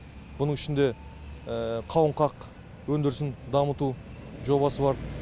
бұның ішінде қауынқақ өндірісін дамыту жобасы бар